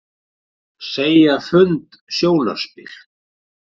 Segja fund sjónarspil